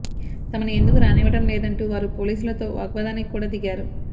తమను ఎందుకు రానివ్వడం లేదంటూ వారు పోలీసులతో వాగ్వాదానికి కూడా దిగారు